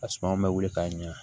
A suma bɛ wili k'a ɲɛ